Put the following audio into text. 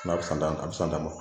N'a bɛ san tan a bɛ san tan bɔ